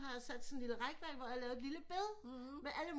Har jeg sat sådan et lille rækværk hvor jeg har lavet et lille bed med alle mulige